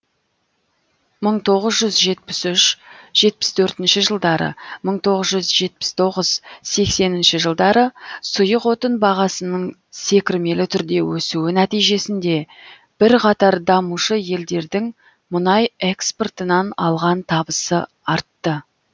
мың тоғыз жүз жетпіс үш жетпіс төртінші жылдары мың тоғыз жүз жетпіс тоғыз сексенінші жылдары сұйық отын бағасының секірмелі түрде өсуі нәтижесінде бірқатар дамушы елдердің мұнай экспортынан алған табысы артты